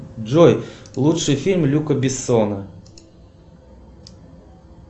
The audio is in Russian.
джой лучший фильм люка бессона